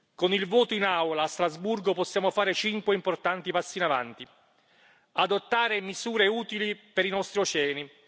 Con il voto in Aula a Strasburgo possiamo fare cinque importanti passi in avanti adottare misure utili per i nostri oceani